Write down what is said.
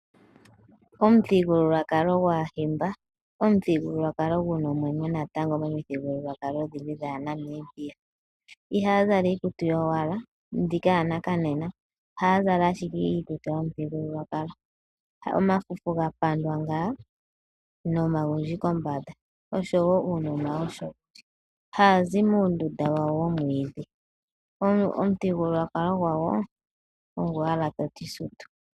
Omuthigululwakalo gwaahimba, omuthigulukwalo gu na omwenyo natango momithigulwakalo odhindji dhaaNamibia. Ihaa zala iikutu yowala, mbika yanakanena, ohaa zala ashike iikutu yomuthigululwakalo. Omafufu ga pandwa ngaa, nomagundji kombanda, osho woo uunona . Haa zi muundunda wawo womwiidhi. Omuthigululwakalo gwawo ongoye ogwo owala toti sutu.